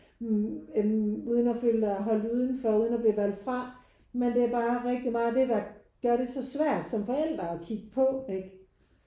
Mh øh uden at føle dig holdt udenfor uden at blive valgt fra men det er bare rigtig meget det der gør det så svært som forældre at kigge på ikke?